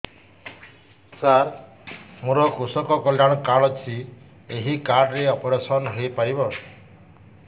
ସାର ମୋର କୃଷକ କଲ୍ୟାଣ କାର୍ଡ ଅଛି ଏହି କାର୍ଡ ରେ ଅପେରସନ ହେଇପାରିବ